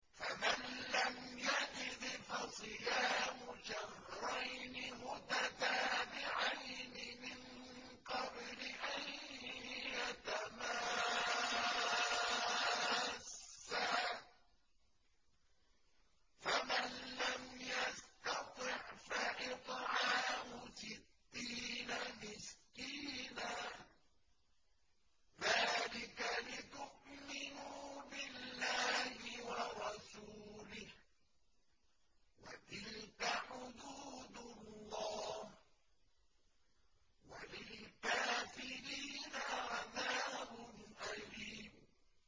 فَمَن لَّمْ يَجِدْ فَصِيَامُ شَهْرَيْنِ مُتَتَابِعَيْنِ مِن قَبْلِ أَن يَتَمَاسَّا ۖ فَمَن لَّمْ يَسْتَطِعْ فَإِطْعَامُ سِتِّينَ مِسْكِينًا ۚ ذَٰلِكَ لِتُؤْمِنُوا بِاللَّهِ وَرَسُولِهِ ۚ وَتِلْكَ حُدُودُ اللَّهِ ۗ وَلِلْكَافِرِينَ عَذَابٌ أَلِيمٌ